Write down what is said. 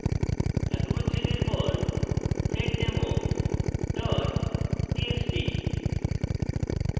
একক উদ্ধৃতির পর seddemo txt txt